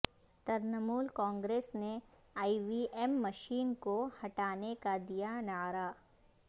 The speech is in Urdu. ترنمول کانگریس نے ای وی ایم مشین کو ہٹانے کا دیا نعرہ